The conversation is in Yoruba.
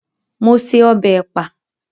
Mo se ọbẹ̀ ẹ̀pà